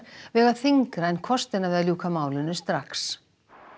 vegi þyngra en kostirnir við að ljúka málinu strax